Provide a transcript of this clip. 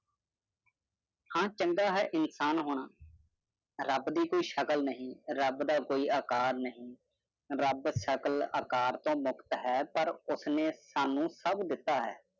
ਹਨ ਚੰਗਾ ਹੈ ਇਨਸਾਨ ਹੋਣਾ ਰਬ ਦੀ ਕੋਈ ਸ਼ਕਲ ਨਹੀਂ ਰਬ ਦਾ ਕੋਈ ਆਕਾਰ ਨਹੀਂ ਰਬ ਸ਼ਕਲ ਆਕਾਰ ਤੋ ਮੁਕਤ ਹੈ ਪਰ ਉਸਨੇ ਸਾਨੂ ਸਬ ਦਿੱਤਾ ਹੈ